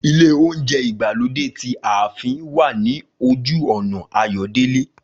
Ilé óúnjẹ ìgbàlódé ti ààfin wà ní ojú ọ̀nà Ayọ̀délé